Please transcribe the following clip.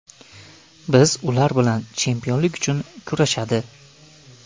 Biz ular bilan chempionlik uchun kurashadi.